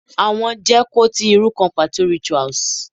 Awọn je kò ti iru kan pato rituals